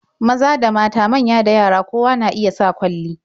Maza da mata, manya da yara, kowa na iya sa kwalli.